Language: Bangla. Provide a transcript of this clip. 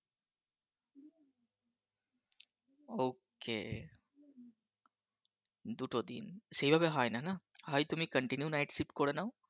ওকে দুটো দিন সেভাবে হয় না না হয় তুমি Continue Night Shift করে নাও